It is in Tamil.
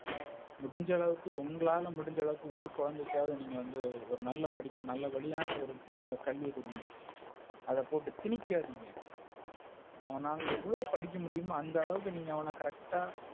முடிஞ்ச அளவுக்கு உங்களால முடிஞ்ச அளவுக்கு ஒரு குழந்தைக்காவது நீங்க வந்து ஒரு நல்ல படிப்பு. நல்ல வழியான ஒரு நல்ல கல்வி குடுங்க. அத போட்டு திணிக்காதீங்க. உன்னால எவ்ளோ படிக்க முடியுமோ அந்த அளவுக்கு நீங்க அவன Correct,